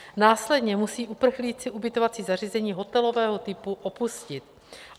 Následně musí uprchlíci ubytovací zařízení hotelového typu opustit.